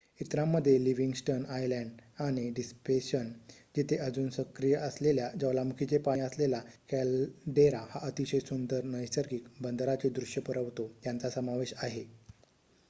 इतरांमध्ये Livingston island आणि Deception जिथे अजून सक्रिय असलेल्या ज्वालामुखीचे पाणी असलेला कॅलडेरा हा अतिशय सुंदर नैसर्गिक बंदराचे दृश्य पुरवतो यांचा समावेश आहे